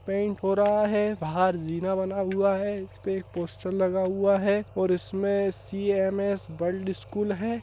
Paint हो रहा है बाहर जीना बना हुआ है इसपे एक पोस्टर लगा हुआ है और इसमें सी.एम.एस. गर्ल स्कूल है।